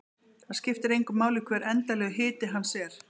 Það skiptir engu máli hver endanlegur hiti hans er.